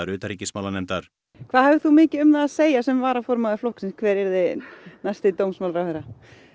utanríkismálanefndar hvað hafðir þú mikið um það að segja sem varaformaður flokksins hver yrði næsti dómsmálaráðherra